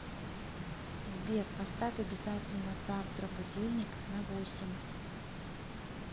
сбер поставь обязательно завтра будильник на восемь